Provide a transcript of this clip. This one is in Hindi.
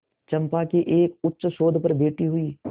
चंपा के एक उच्चसौध पर बैठी हुई